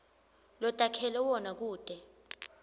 lotakhele wona kute